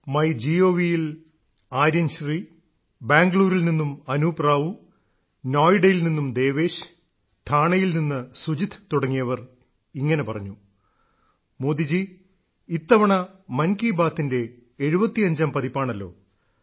ങ്യ ഴീ് യിൽ ആര്യൻശ്രീ ബാംഗ്ലൂരിൽ നിന്നും അനൂപ് റാവു നോയ്ഡയിൽ നിന്ന് ദേവേശ് ഠാണേയിൽ നിന്ന് സുജിത്ത് തുടങ്ങിയവർ ഇങ്ങനെ പറഞ്ഞു മോദിജീ ഇത്തവണ മൻ കി ബാത്തിന്റെ 75ാം പതിപ്പാണല്ലോ